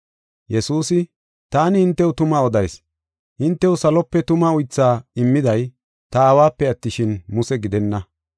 Yesuusi, “Taani hintew tuma odayis; hintew salope tuma uythaa immiday ta Aawape attishin, Muse gidenna.